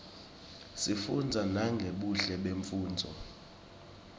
sifunza nangebuhle bemnfundzo